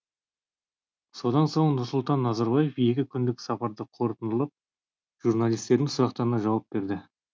содан соң нұрсұлтан назарбаев екі күндік сапарды қорытындылап журналистердің сұрақтарына жауап берді